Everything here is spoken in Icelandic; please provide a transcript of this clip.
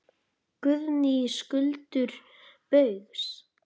Guðný: Skuldir Baugs?